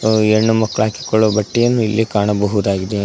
ಹೆಣ್ಣು ಮಕ್ಕಳು ಹಾಕಿಕೊಳ್ಳುವ ಬಟ್ಟೆಯನ್ನು ಇಲ್ಲಿ ಕಾಣಬಹುದಾಗಿದೆ.